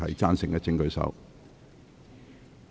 贊成的請舉手。